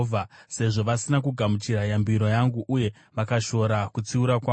sezvo vasina kugamuchira yambiro yangu, uye vakashora kutsiura kwangu,